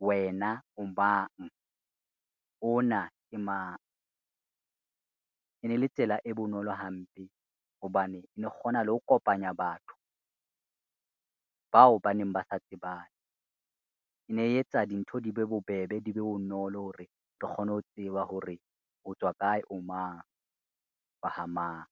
wena o bang ona ke mang, e ne le tsela e bonolo hampe hobane ne kgona le ho kopanya batho, bao baneng ba sa tsebane. Ne e etsa dintho di be bobebe di be bonolo hore re kgone ho tseba hore o tswa kae o mang, wa ha mang.